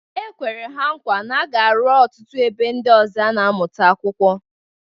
E kwere ha nkwa na a ga-arụ ọtụtụ ebe ndị ọzọ a na-amụta akwụkwọ.